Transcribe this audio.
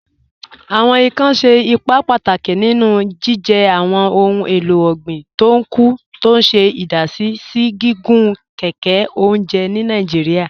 Awọn ìkàn ṣẹ̀ ìpà pátákì nínú jìjẹ́ awọn ohun èlò ọ̀gbin tó ń kú, tó ṣè idàsí sí gígùn kẹkẹ ọ̀njẹ̀ ni Nàìjíríà.